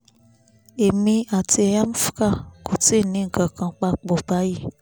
èmi àti amvca kò tíì ní nǹkan kan papọ̀ báyìí